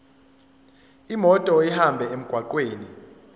imoto ihambe emgwaqweni